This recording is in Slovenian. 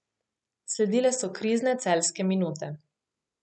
Sledile so krizne celjske minute.